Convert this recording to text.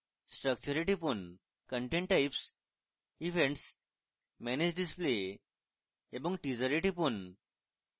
structure এ টিপুন content types events manage display এবং teaser এ টিপুন